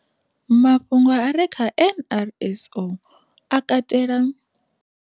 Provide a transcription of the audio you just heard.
Mafhungo a re kha NRSO a katela.